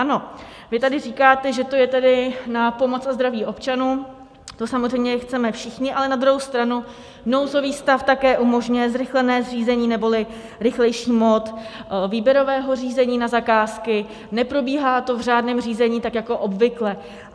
Ano, vy tady říkáte, že to je tedy na pomoc a zdraví občanům, to samozřejmě chceme všichni, ale na druhou stranu nouzový stav také umožňuje zrychlené řízení neboli rychlejší mód výběrového řízení na zakázky, neprobíhá to v řádném řízení, tak jako obvykle.